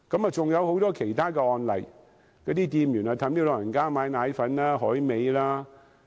還有很多其他案例，有些店員勸誘長者買奶粉、海味。